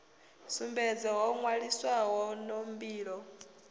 sumbedze ho nwaliswaho no mbilo